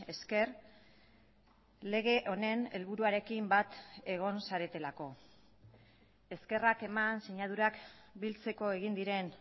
esker lege honen helburuarekin bat egon zaretelako eskerrak eman sinadurak biltzeko egin diren